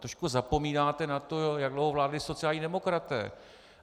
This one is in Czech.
Trošku zapomínáte na to, jak dlouho vládli sociální demokraté.